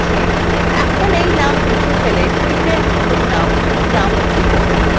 এখন এই name মুছে ফেলে sheetএর নতুন name dump লিখুন